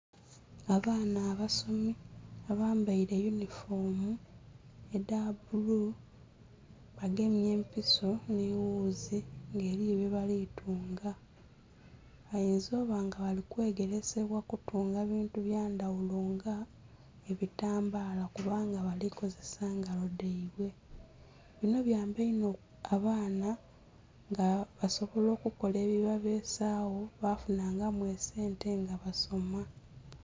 Abaana abasomi abambaire eyunhifomu edha bulu bagemye empiso nhi ghuzi nga eriyo bye bali tunga. Bayinza okuba nga bali kwegeresebwa kutunga buntu bya ndhaghulo nga ebitambala kubanga bali kozesa ngalo dhaibwe, binho byamba inho abaana nga basobola okukola ebibabesagho bafinha ngamu esente nga basoma.